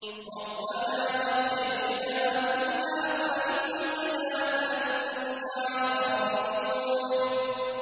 رَبَّنَا أَخْرِجْنَا مِنْهَا فَإِنْ عُدْنَا فَإِنَّا ظَالِمُونَ